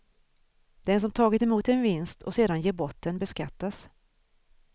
Den som tagit emot en vinst och sedan ger bort den beskattas.